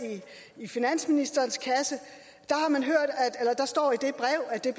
i finansministerens kasse der står i det brev at det